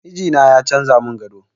Mijina ya canza mun gado